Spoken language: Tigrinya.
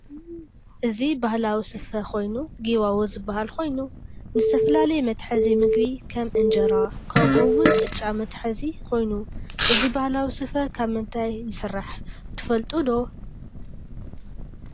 እዚ ባህላዊ ሰፈ ኮይኑ ጊዋዎ ዝባሀል ኮይኑ ንዝተፈላለየ መተሕዚ ምግብ ከም እንጀራ ከምኡዎን ቅጫ መትሐዚኮይኑ እዚ ባህላዊ ስፈ ከብ ምንታይ ይሰራሕ ትፈልጡዶ?